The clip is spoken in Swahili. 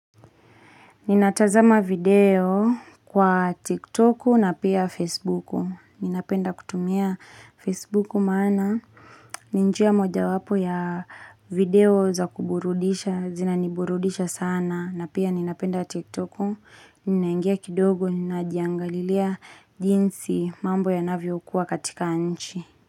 Ninatazama video kwa Tik Tok na pia Facebook. Ninapenda kutumia Facebook maana. Ni njia moja wapo ya video za kuburudisha. Zina niburudisha sana. Na pia ninapenda Tik Tok. Ninaingia kidogo ninajiangalilia. Jinsi mambo yanavyokuwa katika nchi.